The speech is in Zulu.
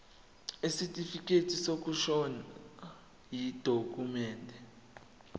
isitifikedi sokushona yidokhumende